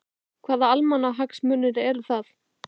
Hvaða almannahagsmunir eru það?